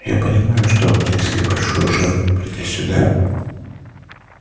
я понимаю что вы принесли большую жертву придя сюда